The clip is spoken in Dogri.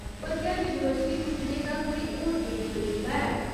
पर क्या यूनिवर्सिटी पुज्जने दा कोई होर तेज तरीका है ?